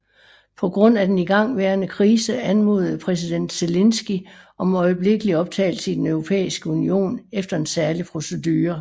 På grund af den igangværende krise anmodede præsident Zelenskyj om øjeblikkelig optagelse i Den Europæiske Union efter en særlig procedure